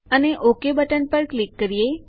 અને OK button પર click કરીએ